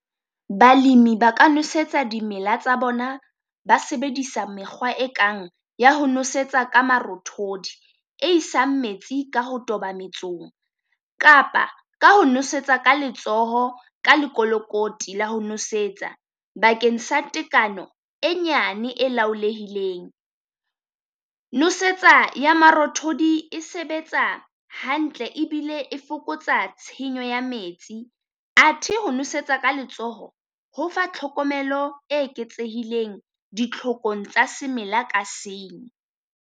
Balemi ba ka nosetsa dimela tsa bona ba sebedisa mekgwa e kang ya ho nosetsa ka marothodi e isang metsi ka ho toba metsong, kapa ka ho nosetsa ka letsoho ka lekolokoti la ho nosetsa. Bakeng sa tekano e nyane e laholehileng, nosetsa ya marothodi e sebetsa hantle ebile e fokotsa tshenyo ya metsi. Athe ho nosetsa ka letsoho ho fa tlhokomelo e eketsehileng ditlhokong tsa semela ka senye.